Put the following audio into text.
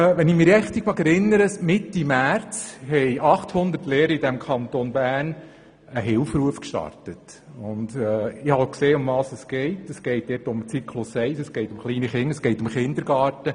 Wenn ich mich richtig erinnere, haben Mitte März etwa 800 Lehrerinnen und Lehrer aus unserem Kanton einen Hilferuf gestartet, und dabei ging es um den Zyklus 1, um die kleinen Kinder, um den Kindergarten.